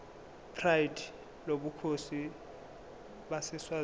pride lobukhosi baseswazini